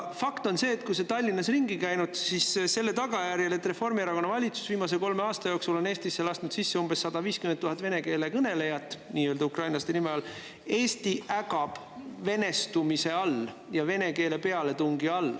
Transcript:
Fakt on see – kui sa oled Tallinnas ringi käinud, siis –, et selle tagajärjel, et Reformierakonna valitsus on viimase kolme aasta jooksul Eestisse lasknud umbes 150 000 vene keele kõnelejat ukrainlaste nimetuse all, Eesti ägab venestumise ja vene keele pealetungi all.